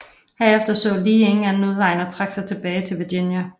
Herefter så Lee ingen anden udvej end at trække sig tilbage til Virginia